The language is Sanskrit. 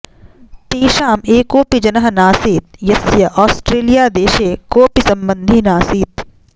तेषाम् एकोऽपि जनः नासीत् यस्य औस्ट्रलियादेशे कोऽपि सम्बन्धी नास्ति